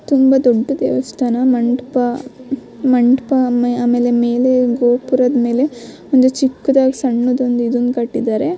ತುಂಬಾ ದೊಡ್ಡ ದೇವಸ್ಥಾನ ಮಂಟಪ ಮಂಟಪ ಆಮೆ ಆಮ್ಲೆಲೇ ಮೆಲೆ ಗೊಪುರದ ಮೆಲೆ ಒಂದು ಚಿಕ್ಕದಾಗಿ ಒಂದು ಸಣ್ಣದು ಇದು ಕಟ್ಟಿದ್ದಾರೆ .